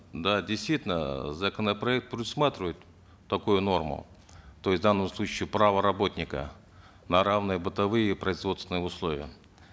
да действительно э законопроект предусматривает такую норму то есть в данном случае право работника на равные бытовые производственные условия